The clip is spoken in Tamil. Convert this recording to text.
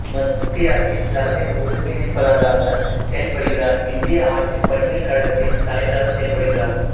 மத்திய அரசின் தலைமை ஒருங்கிணைப்பாளராக செயல்படுகிறார் இந்திய ஆட்சிப் பணிகள் கழகத்தின் தலைவராக செயல்படுகிறார்